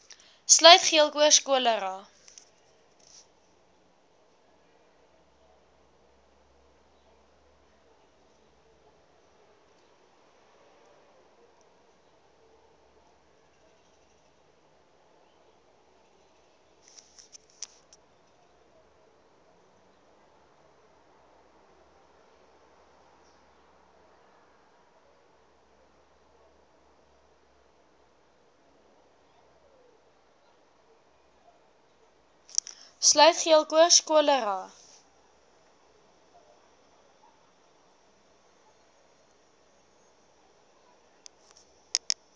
sluit geelkoors cholera